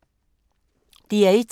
DR1